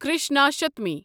Krishnashtami